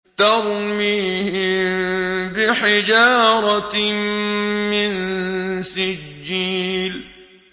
تَرْمِيهِم بِحِجَارَةٍ مِّن سِجِّيلٍ